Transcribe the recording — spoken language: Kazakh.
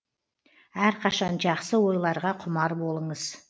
әрқашан жақсы ойларға құмар болыңыз